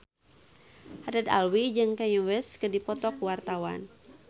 Haddad Alwi jeung Kanye West keur dipoto ku wartawan